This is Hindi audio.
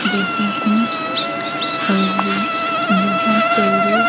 रहे हैंऔर यहां पर--